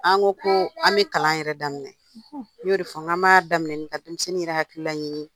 An ko ko an bɛ kalan yɛrɛ daminɛ n y'o de fɔ n g'an b'a daminɛ ka denmisɛnnin yɛrɛ hakilila ɲini